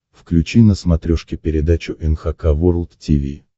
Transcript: включи на смотрешке передачу эн эйч кей волд ти ви